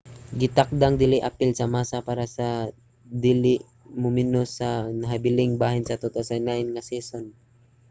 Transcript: gitakdang dili apil si massa para sa dili mumenos sa nahabiling bahin sa 2009 nga season